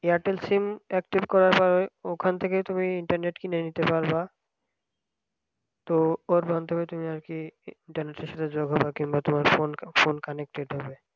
Airtel sim active করা হয় ওখান থেকেই তুমি internet কিনে নিতে পারবা ও ওইখান থেকে আর কি যেভাবে কিনবে phone phone connected হবে